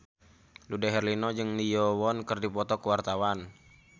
Dude Herlino jeung Lee Yo Won keur dipoto ku wartawan